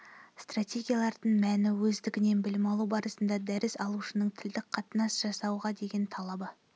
стратегиялардың мәні-өздігінен білім алу барысында дәріс алушының тілдік қатынас жасауға деген талабы